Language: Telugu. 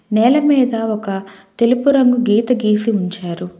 నేల మీద ఒక తెలుపు రంగు గీత గీసి ఉంచారు.